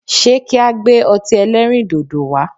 Se ki a gbe o̩ti e̩lẹrindodo wa?